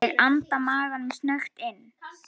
Ég anda maganum snöggt inn.